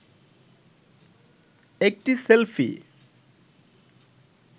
একটি সেলফি